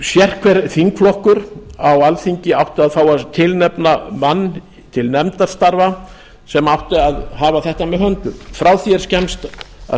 sérhver þingflokkur á alþingi átti þá að tilnefna mann til nefndarstarfa sem átti að hafa þetta með höndum frá því er skemmst að